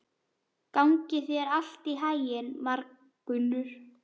Gangi þér allt í haginn, Margunnur.